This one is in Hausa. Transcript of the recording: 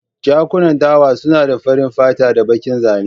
Jakunan dawa suna da farin fata da bakin zane.